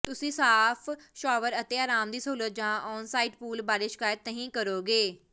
ਤੁਸੀਂ ਸਾਫ ਸ਼ਾਵਰ ਅਤੇ ਆਰਾਮ ਦੀ ਸਹੂਲਤ ਜਾਂ ਆਨਸਾਈਟ ਪੂਲ ਬਾਰੇ ਸ਼ਿਕਾਇਤ ਨਹੀਂ ਕਰੋਗੇ